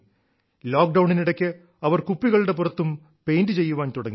ലോക്ഡൌണിനിടയ്ക്ക് അവർ കുപ്പികളുടെ പുറത്തും പെയ്ന്റ് ചെയ്യാൻ തുടങ്ങി